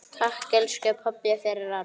Takk, elsku pabbi, fyrir allt.